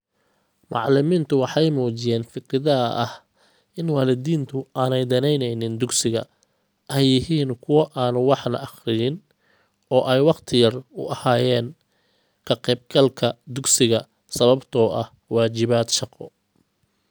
Macallimiintu waxay muujiyeen fikradaha ah in waalidiintu aanay danaynaynin dugsiga, ay yihiin kuwo aan waxna akhriyin oo ay waqti yar u hayeen ka-qaybgalka dugsiga sababtoo ah waajibaad shaqo.